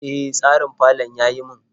E, tsarin falon ya yi min.